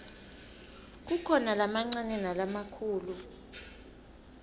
kukhona lamancane nalamakhulu